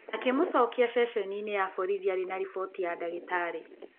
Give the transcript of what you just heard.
Akĩmũcokia ceceni-inĩ ya borithi arĩ na riboti ya ndagĩtarĩ.